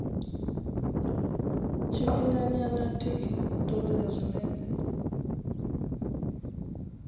tshifhinganyana tic hu ṱoḓea zwinepe